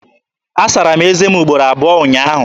Asara m ézé m ugboro abụọ ụnyaahụ.